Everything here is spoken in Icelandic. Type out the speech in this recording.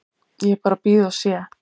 Ég bara bíð og sé.